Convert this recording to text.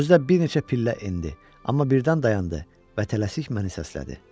Özü də bir neçə pillə endi, amma birdən dayandı və tələsik məni səslədi.